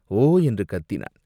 ஓ என்று கத்தினான்.